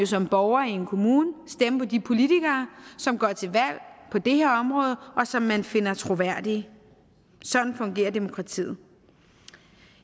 som borger i en kommune stemme på de politikere som går til valg på det her område og som man finder troværdige sådan fungerer demokratiet